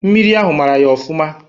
Mmiri ahụ mara ya ofụma.